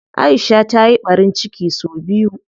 Aisha ta yi ɓarin ciki sau biyu.